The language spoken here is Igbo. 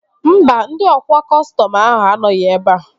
Mba, ndị ọkwa kọstọm ahụ anọghị ebea